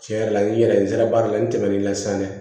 Tiɲɛ yɛrɛ la n yɛrɛ n sera baara la n tɛmɛn'i la san dɛ